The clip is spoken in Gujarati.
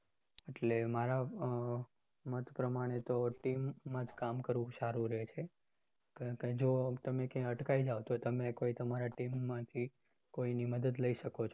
એટલે મારે મત પ્રમાણે તો team માં જ કામ કરવું સારું રહે છે કારણકે જો તમે ક્યાં અટકાઈ જાઓ તો તમે કોઈ તમારી team માંથી કોઈની મદદ લઇ શકો છો